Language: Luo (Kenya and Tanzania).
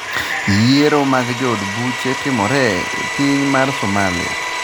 yiero mag jood buche timore e piny mar Somalia